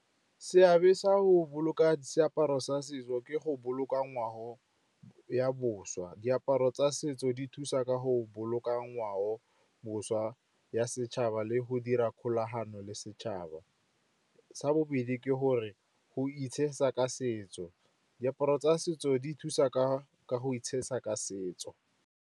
Seabe sa go boloka seaparo sa setso ke go boloka ngwao ya boswa. Diaparo tsa setso di thusa ka go boloka ngwao boswa ya setšhaba le go dira kgolagano le setšhaba. Sa bobedi ke gore go itshesa ka setso, diaparo tsa setso di thusa ka go itshesa ka setso.